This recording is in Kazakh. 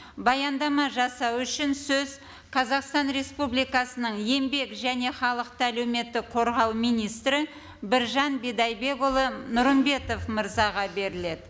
баяндама жасау үшін сөз қазақстан республикасының еңбек және халықты әлеуметтік қорғау министрі біржан бидайбекұлы нұрымбетов мырзаға беріледі